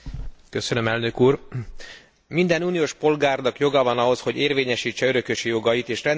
Minden uniós polgárnak joga van ahhoz, hogy érvényesítse örökösi jogait, és rendelkezzen vagyonáról halála esetén.